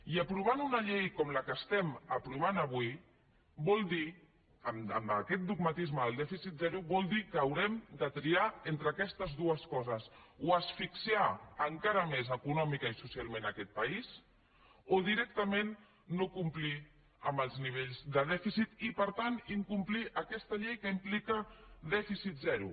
i aprovar una llei com la que estem aprovant avui vol dir amb aquest dogmatisme del dèficit zero que haurem de triar entre aquestes dues coses o asfixiar encara més econòmicament i socialment aquest país o directament no complir amb els nivells de dèficit i per tant incomplir aquesta llei que implica dèficit zero